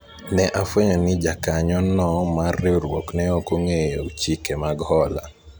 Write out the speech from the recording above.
ne afwenyo ni jakanyo no mar riwruok ne ok ong'eyo chike mag hola